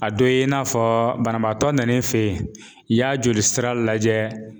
A dɔ ye in n'a fɔ banabaatɔ nan'i fɛ yen i y'a joli sira lajɛ